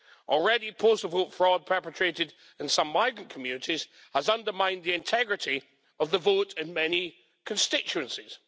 Already postal vote fraud perpetrated in some migrant communities has undermined the integrity of the vote in many constituencies.